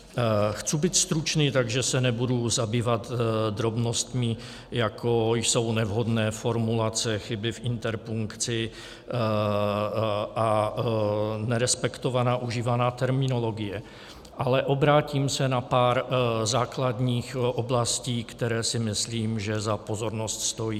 Chci být stručný, takže se nebudu zabývat drobnostmi, jako jsou nevhodné formulace, chyby v interpunkci a nerespektovaná užívaná terminologie, ale obrátím se na pár základních oblastí, které si myslím, že za pozornost stojí.